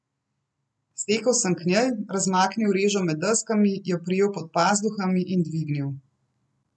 Stekel sem k njej, razmaknil režo med deskami, jo prijel pod pazduhami in dvignil.